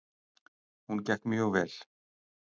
Hún gekk mjög vel.